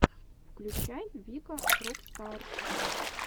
включай вика рок стар